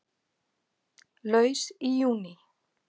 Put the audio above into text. Laus í júní